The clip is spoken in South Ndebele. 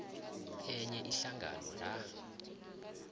enye ihlangano la